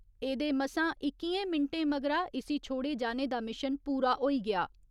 एह्दे मसा इक्कियें मिन्टें मगरा इसी छोड़े जाने दा मिशन पूरा होई गेआ।